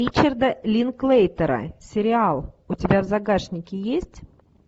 ричарда линклейтера сериал у тебя в загашнике есть